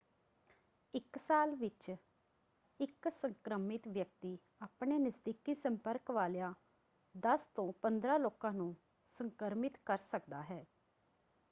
ਇੱਕ ਸਾਲ ਵਿੱਚ ਇੱਕ ਸੰਕ੍ਰਮਿਤ ਵਿਅਕਤੀ ਆਪਣੇ ਨਜ਼ਦੀਕੀ ਸੰਪਰਕ ਵਾਲਿਆਂ 10 ਤੋਂ 15 ਲੋਕਾਂ ਨੂੰ ਸੰਕ੍ਰਮਿਤ ਕਰ ਸਕਦਾ ਹੈ।